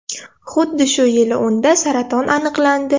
Xuddi shu yili unda saraton aniqlandi.